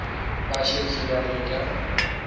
ba šetše ba le ka